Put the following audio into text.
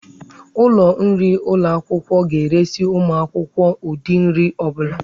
Ụlọ nri ụlọ akwụkwọ ga-eresị ụmụ akwụkwọ ụdị nri ọ bụla.